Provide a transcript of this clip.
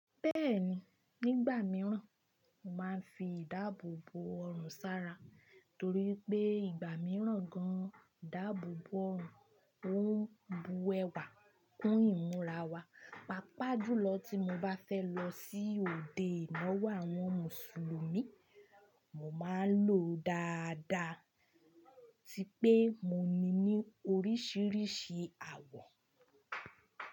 Bẹ́ẹ̀ni, nígbà míràn mo máa ń fi ìdáàbòbò ọrùn sára torí pé ìgbà míràn gan, ìdáàbòbò ọrùn ọ̀ ń bu ẹwà kún ìmúra wa. Pápá jùlọ tí mo bá fẹ́ lọ sí òde ìnáwó àwọn mùsùlùmí, mo máa ń lo dáadáa atí pé mo ní ní oríṣiríṣi àwọ̀.